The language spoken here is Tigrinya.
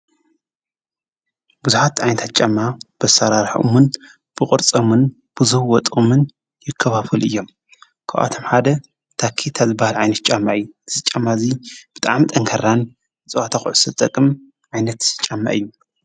ብዙኃት ኣንታት ጫማ በሠራርሕሙን ብቖርፆሙን ብዙኅ ወጡምን ይከባፉሉ እዮም ክኣቶም ሓደ ታኪ ኣዘበሃል ኣይንት ጫማእይ ዝጫማ እዙይ ብጥኣም ጠንከራን ብፁዋታዂዑሰትጠቕም ኣይነት ጫማይ እዩ።